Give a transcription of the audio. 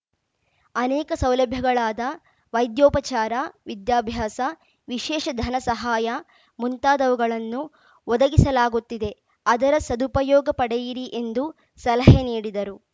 ಅನೇಕ ಸೌಲಭ್ಯಗಳಾದ ವೈದ್ಯೋಪಚಾರ ವಿದ್ಯಾಭ್ಯಾಸ ವಿಶೇಷ ಧನಸಹಾಯ ಮುಂತಾದವುಗಳನ್ನು ಒದಗಿಸಲಾಗುತ್ತಿದೆ ಅದರ ಸದುಪಯೊಗ ಪಡೆಯಿರಿ ಎಂದು ಸಲಹೆ ನೀಡಿದರು